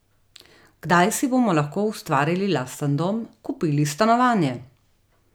Kdaj si bomo lahko ustvarili lasten dom, kupili stanovanje?